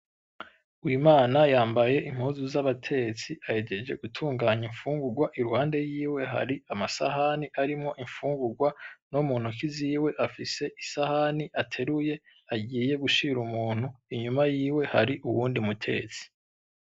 Umwana yambaye impuzu z'abatetsi ahejeje gutunganya infungurwa iruhande yiwe hari amasahani arimwo infungurwa no mu ntoki ziwe afise isahani ateruye agiye gushira umuntu inyuma yiwe hari uyundi mutetsi.